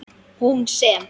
Hún sem.